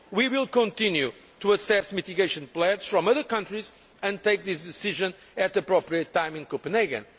We will continue to assess mitigation plans from other countries and take this decision at the appropriate time in Copenhagen.